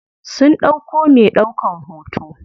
Sun ɗauko me ɗaukan hoto.